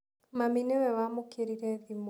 Mami nĩwe wamũkĩrire thimũ.